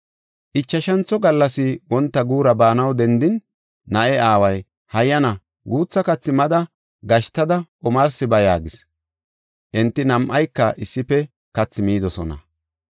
Ichashantho gallas wonta guura baanaw dendin, na7e aaway, “Hayyana, guutha kathi mada, gashtada omarsi ba” yaagis. Enti nam7ayka issife kathi midosona.